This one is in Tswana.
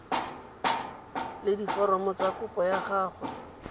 le diforomo tsa kopo gangwe